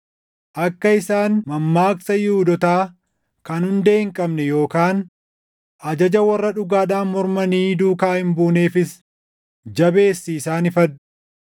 Akka isaan mammaaksa Yihuudootaa kan hundee hin qabne yookaan ajaja warra dhugaadhaan mormanii duukaa hin buuneefis jabeessii isaan ifadhu.